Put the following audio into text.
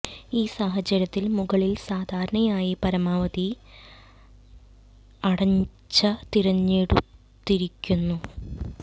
ഈ സാഹചര്യത്തിൽ മുകളിൽ സാധാരണയായി പരമാവധി ലചൊനിച് അടച്ച തിരഞ്ഞെടുത്തിരിക്കുന്നു